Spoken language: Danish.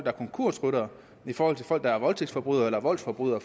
er konkursryttere i forhold til folk der er voldtægtsforbrydere eller voldsforbrydere